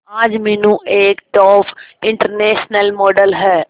आज मीनू एक top international model है